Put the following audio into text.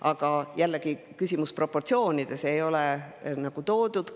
Aga jällegi on küsimus proportsioonides – neid ei ole toodud.